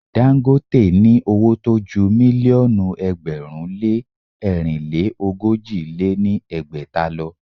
Dagote ní owó tó ju mílíọ̀nù ẹgbẹ̀rún lé ẹ̀rinlé ogójì lé ní ẹgbẹ́ta lọ.